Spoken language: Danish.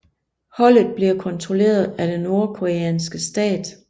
Holdet bliver kontrolleret af den nordkoreanske stat